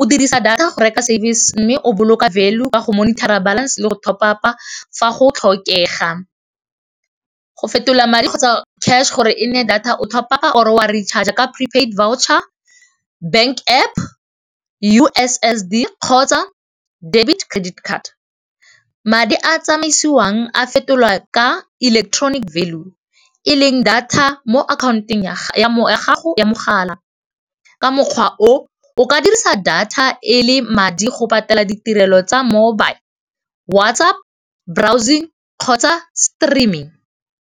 o dirisa data go service mme o boloka value ka go monitor-a balance le go top-up-a fa go tlhokega. Go fetola madi kgotsa cash gore e nne data o top-up-a or wa recharger ka prepaid voucher, bank App, U_S_S_D kgotsa debit, credit card. Madi a tsamaisiwang a fetolwa ka electronic value e leng data mo account-ong ya gago ya mogala. Ka mokgwa o o ka dirisa data e le madi go patela ditirelo tsa mobile, WhatsApp, browsing kgotsa streaming.